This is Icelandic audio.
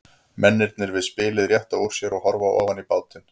Mennirnir við spilið rétta úr sér og horfa ofan í bátinn.